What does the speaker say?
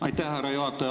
Härra juhataja!